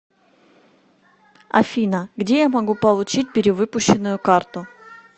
афина где я могу получить перевыпущенную карту